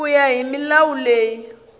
ku ya hi milawu leyi